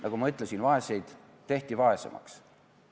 Nagu ma ütlesin, vaesed tehti vaesemaks.